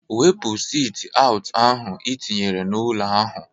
Wepu sit aụt ahụ i tinyere na-ụlọ ahụ!